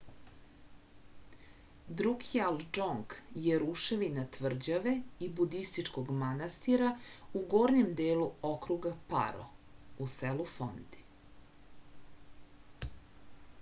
друкјал џонг је рушевина тврђаве и будистичког манастира у горњем делу округа паро у селу фонди